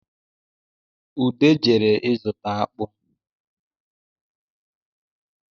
Ude jere ịzụta akpụ